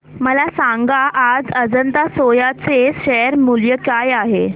मला सांगा आज अजंता सोया चे शेअर मूल्य काय आहे